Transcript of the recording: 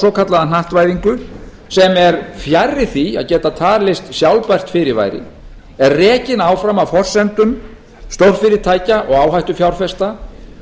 svokallaða hnattvæðingu sem er fjarri því að geta talist sjálfbært fyrirbæri er rekin áfram af forsendum stórfyrirtækja og áhættufjárfesta